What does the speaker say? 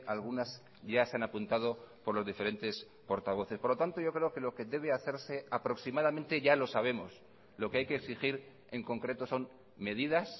algunas ya se han apuntado por los diferentes portavoces por lo tanto yo creo que lo que debe hacerse aproximadamente ya lo sabemos lo que hay que exigir en concreto son medidas